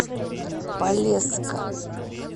полесска